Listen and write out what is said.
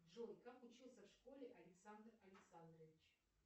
джой как учился в школе александр александрович